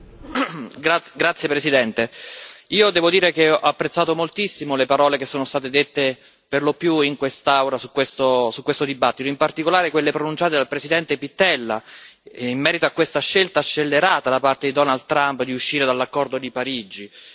Signora Presidente, onorevoli colleghi, io devo dire che ho apprezzato moltissimo le parole che sono state dette per lo più in quest'Aula su questo dibattito, in particolare quelle pronunciate dal presidente Pittella in merito a questa scelta scellerata da parte di Donald Trump di uscire dall'accordo di Parigi.